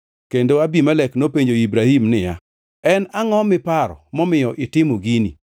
Kendo Abimelek nopenjo Ibrahim niya, “En angʼo miparo momiyo itimo gini?”